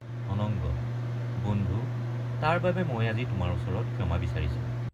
অনঙ্গ—বন্ধু তাৰ বাবে মই আজি তোমাৰ ওচৰত ক্ষমা বিচাৰিছো।